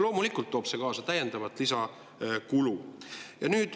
Loomulikult toob see kaasa lisakulu.